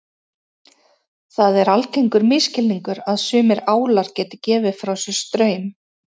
Það er algengur misskilningur að sumir álar geti gefið frá sér straum.